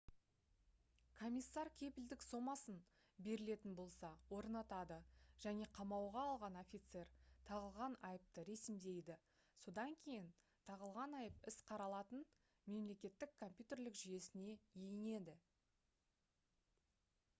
комиссар кепілдік сомасын берілетін болса орнатады және қамауға алған офицер тағылған айыпты ресімдейді. содан кейін тағылған айып іс қаралатын мемлекеттің компьютерлік жүйесіне енеді